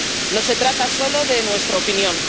No se trata solo de nuestra opinión.